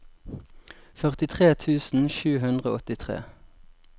førtitre tusen sju hundre og åttitre